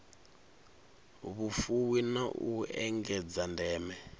vhufuwi na u engedza ndeme